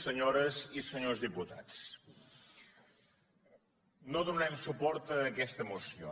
senyores i senyors diputats no donarem suport a aquesta moció